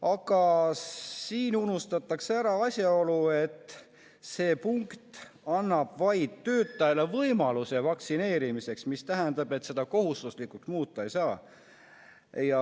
Aga siin unustatakse ära asjaolu, et see punkt annab töötajale vaid võimaluse vaktsineerimiseks, mis tähendab, et seda kohustuslikuks muuta ei saa.